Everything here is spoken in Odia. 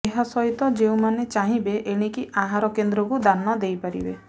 ଏହାସହିତ ଯେଉଁମାନେ ଚାହିଁବେ ଏଣିକି ଆହାର କେନ୍ଦ୍ରକୁ ଦାନ ଦେଇପାରିବେ